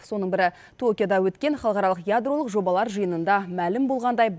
соның бірі токиода өткен халықаралық ядролық жобалар жиынында мәлім болғандай